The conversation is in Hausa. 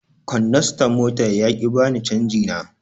Kondastan mota ya ƙi ya bani canji na.